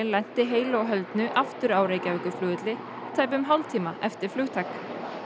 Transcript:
lenti heilu og höldnu aftur á Reykjavíkurflugvelli tæpum hálftíma eftir flugtak